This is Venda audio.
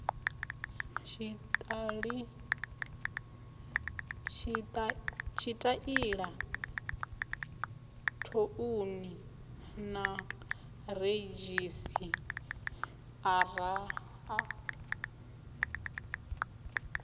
tshitaila thouni na redzhisiṱara a